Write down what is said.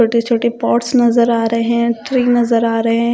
छोटे-छोटे पॉट्स नजर आ रहे हैं थ्री नजर आ रहे हैं।